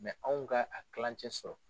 anw ka a tilancɛ sɔrɔ